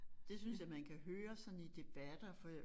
Det synes jeg man kan høre sådan i debatter for